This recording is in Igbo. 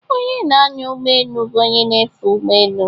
Onye na-anya ụgbọ elu bụ onye na-efe ụgbọ elu.